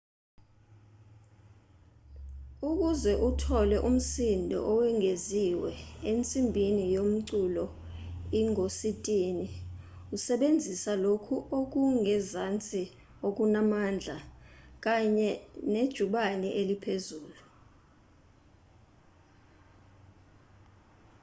ukuze uthole umsindo owengeziwe ensimbini yomculo ingositini usebenzisa lokhu okungezansi okunamandla kanye nejubane eliphezulu